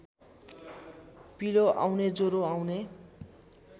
पिलो आउने ज्वरो आउने